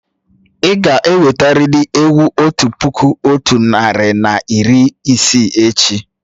Ì ga-ewetarị́li ewu otu puku otu narị na iri isii echi!